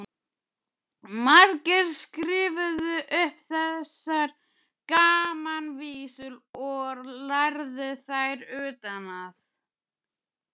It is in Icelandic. Margir skrifuðu upp þessar gamanvísur og lærðu þær utan að.